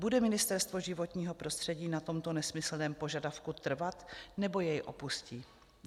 Bude Ministerstvo životního prostředí na tomto nesmyslném požadavku trvat, nebo jej opustí?